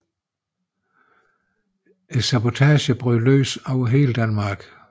Sabotagerne bryder løs over hele Danmark